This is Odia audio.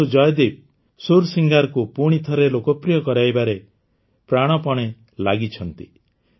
କିନ୍ତୁ ଜୟଦୀପ ସୂରସିଙ୍ଗାରକୁ ପୁଣିଥରେ ଲୋକପ୍ରିୟ କରାଇବାରେ ପ୍ରାଣପଣେ ଲାଗିଛନ୍ତି